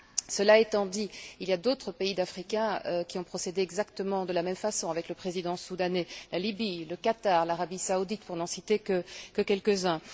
Cela étant dit, il y a d'autres pays africains qui ont procédé exactement de la même façon avec le président soudanais la Lybie, le Qatar, l'Arabie saoudite, pour n'en citer que quelques uns.